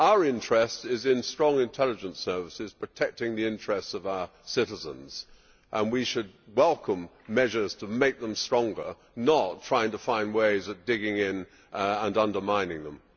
Our interest is in strong intelligence services protecting the interests of our citizens and we should welcome measures to make them stronger, not try to find ways of digging in and undermining them.